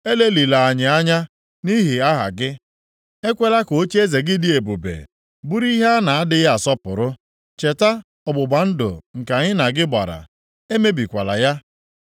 Elelịla anyị anya, nʼihi aha gị. Ekwela ka ocheeze gị dị ebube bụrụ ihe a na-adịghị asọpụrụ. Cheta ọgbụgba ndụ nke anyị na gị gbara; emebikwala ya.